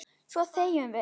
Svo þegjum við.